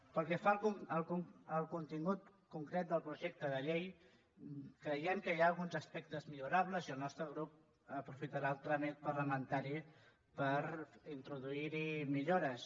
pel que fa al contingut concret del projecte de llei creiem que hi ha alguns aspectes millorables i el nostre grup aprofitarà el tràmit parlamentari per introduir hi millores